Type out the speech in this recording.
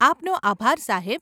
આપનો આભાર સાહેબ.